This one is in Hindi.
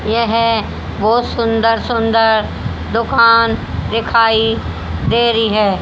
यह बहोत सुंदर सुंदर दुकान दिखाई दे री हैं।